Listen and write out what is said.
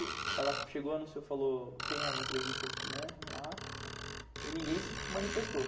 Aí ela chegou, anunciou, falou, tem a entrevista, né, lá, e ninguém se manifestou.